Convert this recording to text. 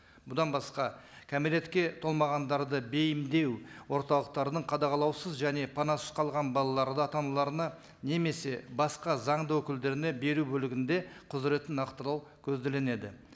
бұдан басқа кәмелетке толмағандарды бейімдеу орталықтарының қадағалаусыз және панасыз қалған балаларды ата аналарына немесе басқа заңды өкілдеріне беру бөлігінде құзыретін нақтылау